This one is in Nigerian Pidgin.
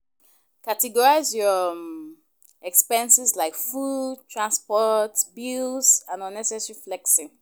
Categorize your expenses like food, transport, bills and unnecessary flexing.